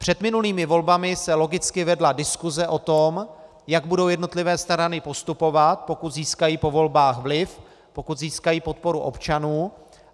Před minulými volbami se logicky vedla diskuse o tom, jak budou jednotlivé strany postupovat, pokud získají po volbách vliv, pokud získají podporu občanů.